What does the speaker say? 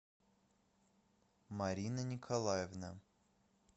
марина николаевна